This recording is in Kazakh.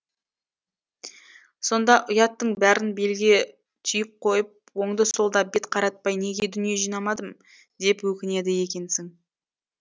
сонда ұяттың бәрін белге түйіп қойып оңды солды бет қаратпай неге дүние жинамадым деп өкінеді екенсің